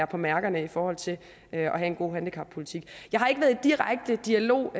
på mærkerne i forhold til at have en god handicappolitik jeg har ikke været i direkte dialog